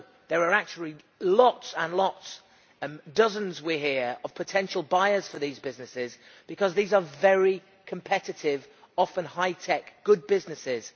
No, there are actually lots and lots dozens, we hear of potential buyers for these businesses, because these are very competitive, often high tech, good businesses.